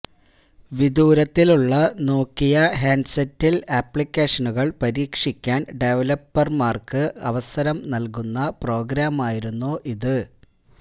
വിദുരത്തിലുള്ള Nokia ഹാന്ഡ്സെറ്റില് ആപ്ലിക്കേഷനുകള് പരീക്ഷിക്കാന് ഡെവലപര്മാര്ക്ക് അവസരം നല്കുന്ന പ്രോഗ്രാമായിരുന്നു ഇത്